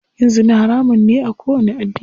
Yin zina haramun ne a kowanni addini.